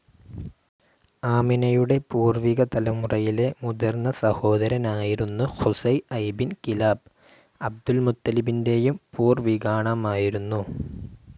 ആമിനയുടെ പൂർവിക തലമുറയിലെ മുതിർന്ന സഹോദരനായിരുന്നു ഖുസൈ ഐബിൻ കിലാബ് അബ്‌ദുൾ മുത്തലിബിൻ്റെയും പൂർവികാണാമായിരുന്നു.